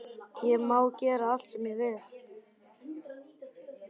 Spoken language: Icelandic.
Ég má gera allt sem ég vil.